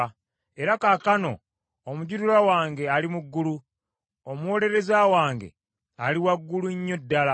Era kaakano omujulirwa wange ali mu ggulu; omuwolereza wange ali waggulu nnyo ddala.